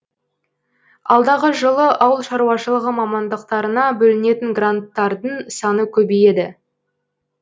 алдағы жылы ауыл шаруашылығы мамандықтарына бөлінетін гранттардың саны көбейеді